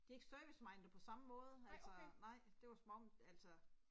De er ikke servicemindet på samme måde, altså nej, det var som om altså